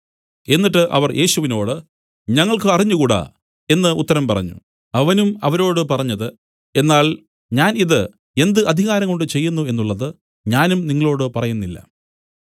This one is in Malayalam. എന്നിട്ട് അവർ യേശുവിനോടു ഞങ്ങൾക്കു അറിഞ്ഞുകൂടാ എന്നു ഉത്തരം പറഞ്ഞു അവനും അവരോട് പറഞ്ഞത് എന്നാൽ ഞാൻ ഇതു എന്ത് അധികാരംകൊണ്ട് ചെയ്യുന്നു എന്നുള്ളത് ഞാനും നിങ്ങളോടു പറയുന്നില്ല